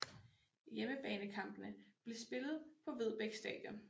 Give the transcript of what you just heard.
Hjemmebanekampene blev spillet på Vedbæk Stadion